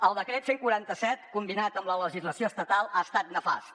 el decret cent i quaranta set combinat amb la legislació estatal ha estat nefast